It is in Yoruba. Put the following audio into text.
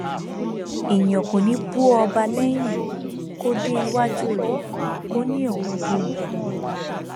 èèyàn kò ní í bú ọba lẹyìn kó dé iwájú rẹ kó ní òun bú u